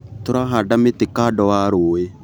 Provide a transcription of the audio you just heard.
Tũrahanda mĩtĩ kando wa rũĩ.